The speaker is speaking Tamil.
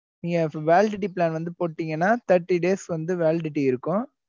நீங்க இப்ப validity plan வந்து போட்டீங்கன்னா thirty days க்கு வந்து validity இருக்கும்.